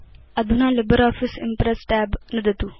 अधुना LibreOffice Impress tab नुदतु